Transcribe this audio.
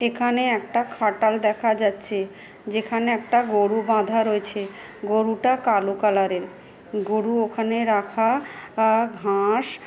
এখানে একটা খাটাল দেখা যাচ্ছে যেখানে একটা গরু বাঁধা রয়েছে গরুটা কালো কালার -এর গরু ওখানে রাখা আ ঘা-আ-স--